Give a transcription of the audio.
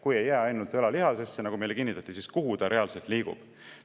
Kui ta ei jää ainult õlalihasesse, nagu meile kinnitati, siis kuhu ta reaalselt liigub?